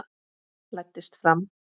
Læddist fram.